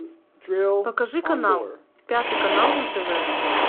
покажи канал пятый канал на тв